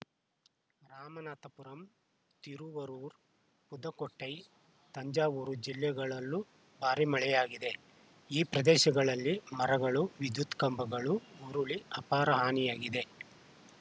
ರಾಮನಾಥಪುರಂ ತಿರುವರೂರು ಪುದುಕೋಟ್ಟೈ ತಂಜಾವೂರು ಜಿಲ್ಲೆಗಳಲ್ಲೂ ಭಾರಿ ಮಳೆಯಾಗಿದೆ ಈ ಪ್ರದೇಶಗಳಲ್ಲಿ ಮರಗಳು ವಿದ್ಯುತ್‌ ಕಂಬಗಳು ಉರುಳಿ ಅಪಾರ ಹಾನಿಯಾಗಿದೆ